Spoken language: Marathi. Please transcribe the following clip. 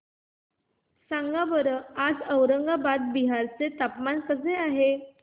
सांगा बरं आज औरंगाबाद बिहार चे हवामान कसे आहे